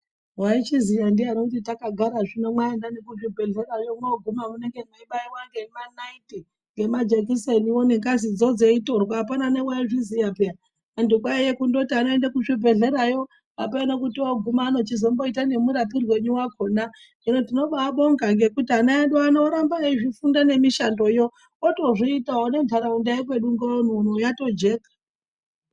Mwaizviziya ndiyani kuti takagara zvino mwaenda nekuzvibhedhlera zvino mwoguma mwobaiwa ngemanaiti nemajekiseniwo mweitirwa ngengazidzo apana newauzviziya peya. Antu kwaita kungondoti anoenda kuzvibhehlerayo ameno kuti aochizomboita nemurapirwei wakhona. Hino tinobaabonga ngekuti ana edu ano oramba eizvifunda nemishando yo otozviitawo nenharaunda yekwedu Ngaoni uno yatojeka.